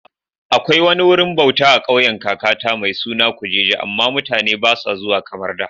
Akwai wani wurin bauta a kauyen kakata mai suna Kujuje, amma mutane ba sa zuwa kamar da